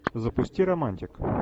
запусти романтик